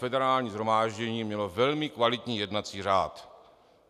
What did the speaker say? Federální shromáždění mělo velmi kvalitní jednací řád.